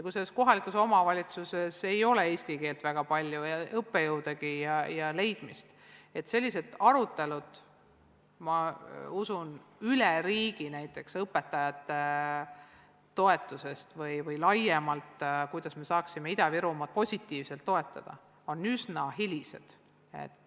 Kui mingis kohalikus omavalitsuses ei ole väga palju eesti keele õpetajaid ja on keeruline leida õppejõude, siis on üsna hiljaks jäänud sellised vajalikud arutelud, kuidas me saaksime toetada õpetajaid või laiemalt näiteks Ida-Virumaad.